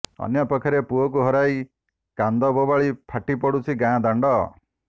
ଅନ୍ୟପକ୍ଷରେ ପୁଅକୁ ହରାଇ କାନ୍ଦ ବୋବାଳି ଫାଟି ପଡୁଛି ଗାଁ ଦାଣ୍ଡ